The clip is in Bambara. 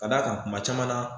Ka d'a kan kuma caman na